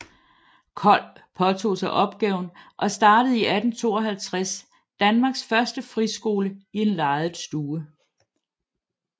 Kold påtog sig opgaven og startede i 1852 Danmarks første friskole i en lejet stue